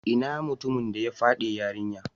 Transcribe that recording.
Inna mutumin da ya fyade yarinyan?